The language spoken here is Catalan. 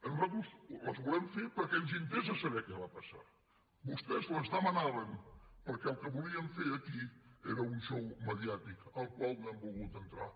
nosaltres les volem fer perquè ens interessa saber què va passar vostès les demanaven perquè el que volien fer aquí era un xou mediàtic al qual no hem volgut entrar